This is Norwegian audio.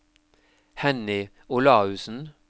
Henny Olaussen